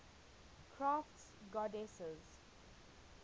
crafts goddesses